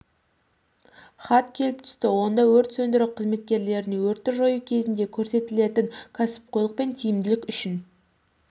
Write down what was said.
хат келіп түсті онда өрт сөндіру қызметкерлеріне өртті жою кезінде көрсетілетін кәсіпқойлық пен тиімділік үшін